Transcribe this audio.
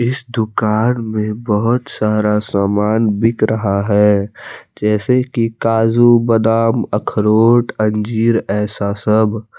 इस दुकान में बहुत सारा सामान बिक रहा है जैसे कि काजू बादाम अखरोट अंजीर ऐसा सब।